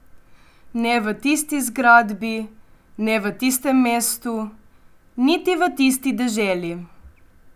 Ne v tisti zgradbi, ne v tistem mestu, niti v tisti deželi.